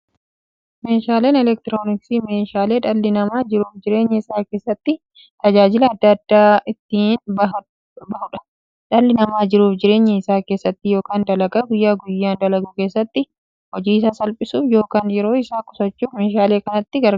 Meeshaaleen elektirooniksii meeshaalee dhalli namaa jiruuf jireenya isaa keessatti, tajaajila adda addaa itti bahuudha. Dhalli namaa jiruuf jireenya isaa keessatti yookiin dalagaa guyyaa guyyaan dalagu keessatti, hojii isaa salphissuuf yookiin yeroo isaa qusachuuf meeshaalee kanatti gargaarama.